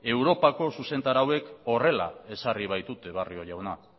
europako zuzentarauek horrela ezarri baitute barrio jauna